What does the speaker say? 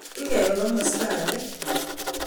Ingebe komosta age